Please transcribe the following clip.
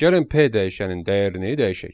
Gəlin P dəyişənin dəyərini dəyişək.